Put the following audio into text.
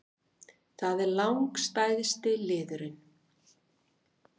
Það er langstærsti liðurinn